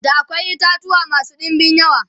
da akwai itatuwa masu ɗinbin yawa